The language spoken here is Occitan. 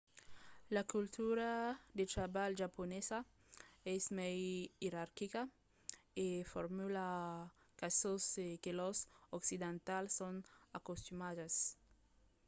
la cultura de trabalh japonesa es mai ierarquica e formala qu'a çò que los occidentals son acostumats